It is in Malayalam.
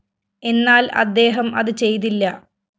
എന്നാല്‍ അദ്ദേഹം അത് ചെയ്തില്ല